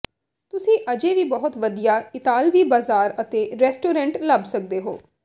ਤੁਸੀਂ ਅਜੇ ਵੀ ਬਹੁਤ ਵਧੀਆ ਇਤਾਲਵੀ ਬਾਜ਼ਾਰ ਅਤੇ ਰੈਸਟੋਰੈਂਟ ਲੱਭ ਸਕਦੇ ਹੋ